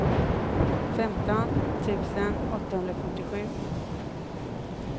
femton tusen åttahundrafyrtiosju